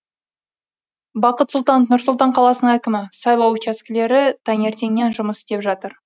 бақыт сұлтанов нұр сұлтан қаласының әкімі сайлау учаскелері таңертеңнен жұмыс істеп жатыр